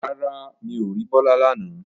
Rárá, mi ò rí Bọ́lá lánàá